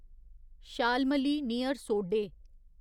Shalmali near सोडे